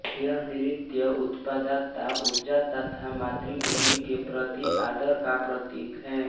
यह नृत्य उत्पादकता ऊर्जा तथा मातृभूमि के प्रति आदर का प्रतीक है